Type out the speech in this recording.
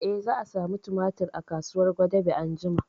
Eh, za a samu tumatir a kasuwar gwadabe anjima